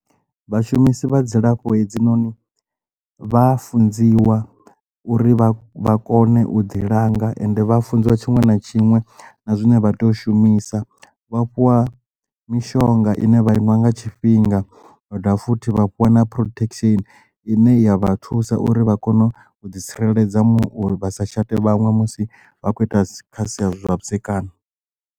Vhashumisi vha dzilafho hedzinoni vha funziwa uri vha vha kone u ḓi langa ende vha funziwa tshiṅwe na tshiṅwe na zwine vha tea u shumisa vha fhiwa mishonga ine vha iṅwa nga tshifhinga vha dovha futhi vha fhiwa na protection ine ya vha thusa uri vha kone u ḓi tsireledza muṅwe uri vha sa shate vhaṅwe musi vha khou ita kha sia zwavhudzekani.